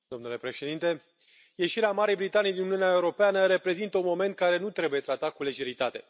Domnule Președinte, ieșirea Marii Britanii din Uniunea Europeană reprezintă un moment care nu trebuie tratat cu lejeritate.